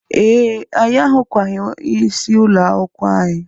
Ee, anyị ahụkwaghị onye isi ụlọakwụkwọ anyị